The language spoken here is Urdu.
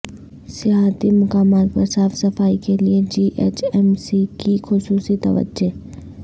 سیاحتی مقامات پر صاف صفائی کیلئے جی ایچ ایم سی کی خصوصی توجہ